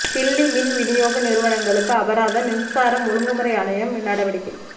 தில்லி மின் விநியோக நிறுவனங்களுக்கு அபராதம் மின்சார ஒழுங்குமுறை ஆணையம் நடவடிக்கை